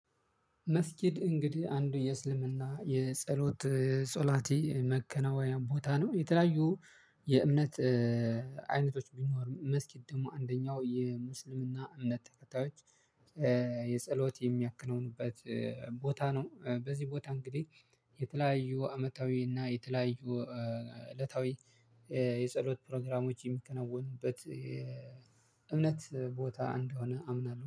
መስጊድ እንግዲህ አንዱ የእስልምና የጸሎት ጾላቲ መከናወኛ ቦታ ነው። የተለያዩ የእምነት አይነቶች ቢኖሩም መስጊድ ደግሞ አንደኛው የሙስሊምና እምነት ተከታዮች የጸሎት የሚያክነውንበት ቦታ ነው። በዚህ ቦታ እንግዲህ የተለያዩ አመታዊ እና የተለያዩ እለታዊ የጸሎት ፕሮግራሞች የሚከናወኑበት የእምነት ቦታ እንደሆነ አምናለሁ፤